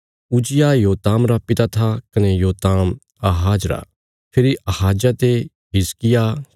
उज्जियाह योताम रा पिता था कने योताम आहाज रा फेरी आहाजा ते हिजकिय्याह